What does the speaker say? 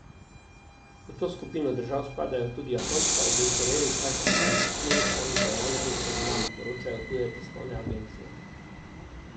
V to skupino držav spadajo tudi Japonska, obe Koreji, Kazahstan, Turkmenistan, Gvajana in Surinam, poročajo tuje tiskovne agencije.